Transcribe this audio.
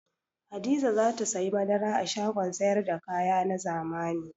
Hadiza za ta sayi madara a shagon sayar da kaya na zamani.